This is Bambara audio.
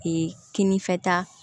kinifɛta